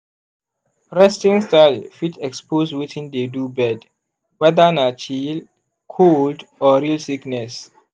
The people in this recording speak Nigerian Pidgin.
resting style fit expose wetin dey do bird whether na chill cold or real sickness.